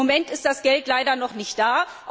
Im Moment ist das Geld leider noch nicht da.